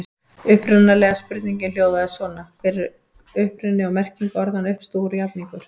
Upprunalega spurningin hljóðaði svona: Hver er uppruni og merking orðanna uppstúfur og jafningur?